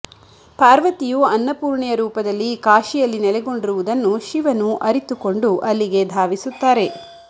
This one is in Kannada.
ಪಾರ್ವತಿಯು ಅನ್ನಪೂರ್ಣೆಯ ರೂಪದಲ್ಲಿ ಕಾಶಿಯಲ್ಲಿ ನೆಲೆಗೊಂಡಿರುವುದನ್ನು ಶಿವನು ಅರಿತುಕೊಂಡು ಅಲ್ಲಿಗೆ ಧಾವಿಸುತ್ತಾರೆ